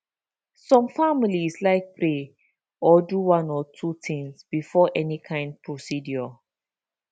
some families like pray or do one or two things before any kind procedure